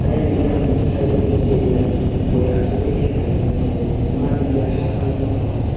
ayang eyang khe sideo hwnkhe stadium bui achukgwi khela naijak nai nukgo math hinkhe haa colour no haa.